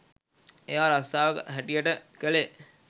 එයා රස්සාව හැටියට කළේ